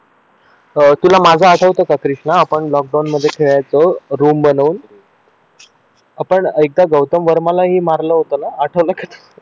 अं तुला माझा आठवतं का कृष्णा आपण लॉकडाऊन मध्ये खेळायचो रूम बनवून आपण एकदा गौतम वर्माला ही मारलं होतं ना आठवतं का तुला